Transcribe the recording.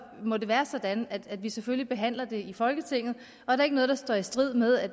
må det være sådan at vi selvfølgelig behandler det i folketinget er der ikke noget der strider strider mod at